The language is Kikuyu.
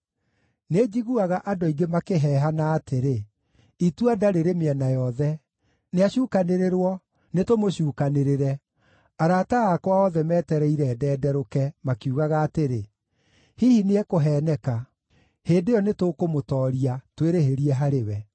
Nĩnjiguaga andũ aingĩ makĩheehana atĩrĩ, “Itua-nda rĩrĩ mĩena yothe! Nĩacukanĩrĩrwo! Nĩtũmũcuukanĩrĩre!” Arata akwa othe metereire ndenderũke, makiugaga atĩrĩ, “Hihi nĩekũheeneka; hĩndĩ ĩyo nĩtũkũmũtooria, twĩrĩhĩrie harĩ we.”